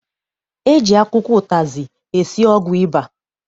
E ji akwụkwọ ụtazị esi ọgwụ ịba.